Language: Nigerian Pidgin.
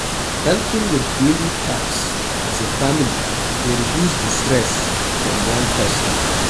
Helping with daily taks as a family dey reduce di stress from one person